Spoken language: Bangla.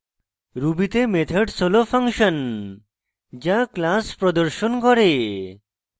ruby তে methods হল ফাংশন যা class প্রদর্শন করে